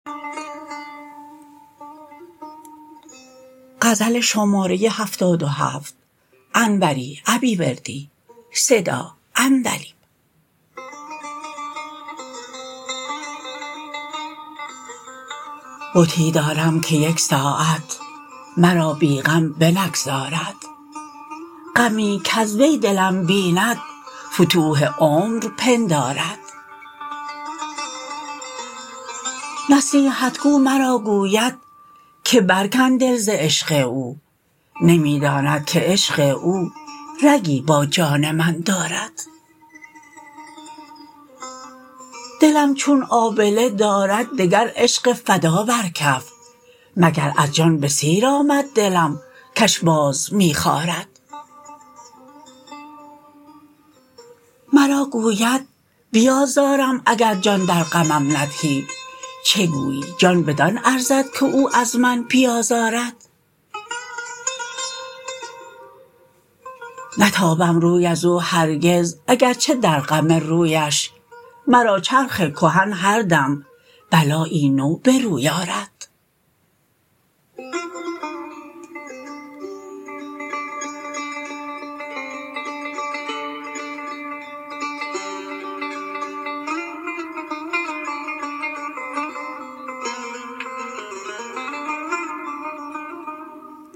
بتی دارم که یک ساعت مرا بی غم بنگذارد غمی کز وی دلم بیند فتوح عمر پندارد نصیحت گو مرا گوید که برکن دل ز عشق او نمی داند که عشق او رگی با جان من دارد دلم چون آبله دارد دگر عشق فدا بر کف مگر از جان به سیر آمد دلم کش باز می خارد مرا گوید بیازارم اگر جان در غمم ندهی چگویی جان بدان ارزد که او از من بیازارد نتابم روی از او هرگز اگرچه در غم رویش مرا چرخ کهن هردم بلایی نو به روی آرد